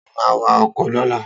Ta ló ma wa ọkọ̀ lọ́la?